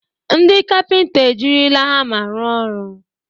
Ndị kapịnta ejirila hama rụọ ọrụ.